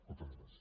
moltes gràcies